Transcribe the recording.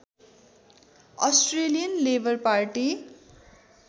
Australian Labour party